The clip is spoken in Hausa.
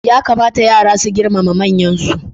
Ya kamata yara su girmama manyansu.